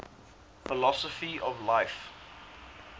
philosophy of life